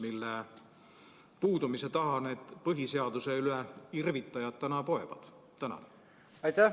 Mille puudumise taha need põhiseaduse üle irvitajad täna poevad?